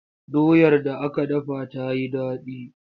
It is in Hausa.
Doyar da aka dafa ta yi daɗi.